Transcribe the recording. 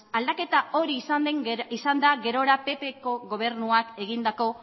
aldaketa hori izan da gerora ppko gobernuak egindako